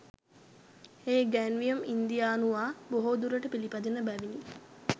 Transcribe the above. ඒ ඉගැන්වීම් ඉන්දියානුවා බොහෝදුරට පිළපදින බැවිණි